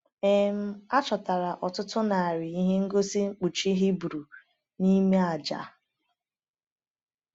um A chọtara ọtụtụ narị ihe ngosi mkpuchi Hibru n’ime aja.